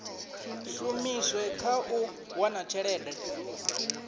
shumiswe kha u wana tshelede